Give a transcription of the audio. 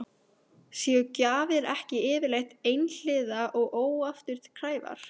Séu gjafir ekki yfirleitt einhliða og óafturkræfar?